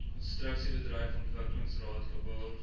konstruksiebedryf ontwikkelingsraad kbor